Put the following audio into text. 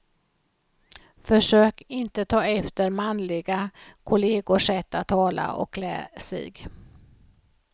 Försök inte ta efter manliga kollegors sätt att tala och klä sig.